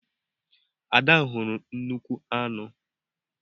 Ada hụrụ nnukwu aṅu.